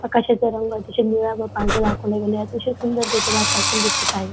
आकाशाचा रंग अतिशय निळा व पांढरा दाखवला गेला आहे अतिशय सुंदर तिथे वातावरण दिसत आहे.